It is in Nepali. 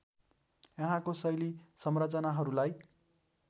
यहाँको शैल संरचनाहरूलाई